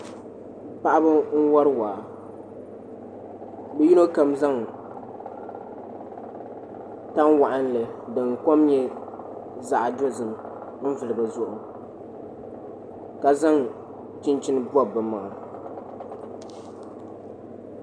Paɣaba n wori waa bi yino kam zaŋ tani waɣanli din kom nyɛ zaɣ dozim n vuli bi zuɣu ka zaŋ chinchin pobi bi maŋa